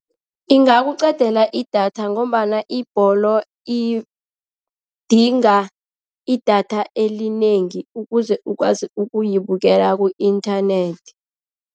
Ingakuqedela idatha ngombana ibholo idinga idatha elinengi ukuze ukwazi ukuyibekela ku-inthanethi.